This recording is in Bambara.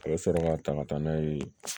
A bɛ sɔrɔ ka ta ka taa n'a ye